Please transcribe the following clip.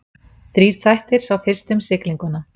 Þrír þættir, sá fyrsti um siglinguna.